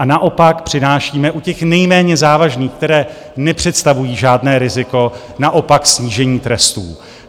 A naopak přinášíme u těch nejméně závažných, které nepředstavují žádné riziko, naopak snížení trestů.